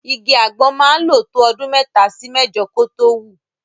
Igi àgbọn máa ń lò tó ọdún mẹ́ta sí mẹ́jọ kó tó wù.